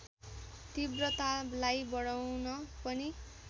तीव्रतालाई बढाउन पनि